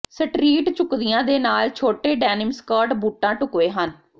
street ਝੁਕਦੀਆਂ ਦੇ ਨਾਲ ਛੋਟੇ ਡੈਨਿਮ ਸਕਰਟ ਬੂਟਾਂ ਢੁਕਵੇਂ ਹਨ